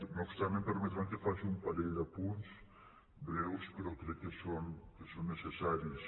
no obstant em permetran que faci un parell d’apunts breus però crec que són necessaris